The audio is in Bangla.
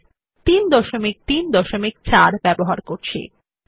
আপনি রাইটের এ আপনার পছন্দের নতুন ডকুমেন্ট খুলে এই বৈশিষ্ট্য গুলি প্রয়োগ করতে পারেন